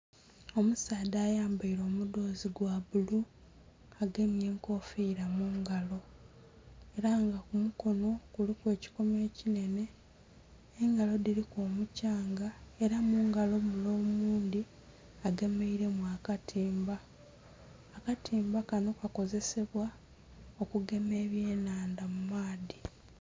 Omusaadha ayambaire omudhozi gwa bulu agemye enkofira mungalo era nga ku mukonho kuliku ekikomo ekinhene engalo dhiliku omukyanga era mungalo mule omundhi agemeiremu akatimba. Akatimba kanho kakozesebwa okugema ebyenhandha mu maadhi.